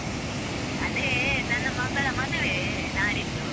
ಅದೇ ನನ್ನ ಮಗಳ ಮದುವೆ ನಾಡಿದ್ದು.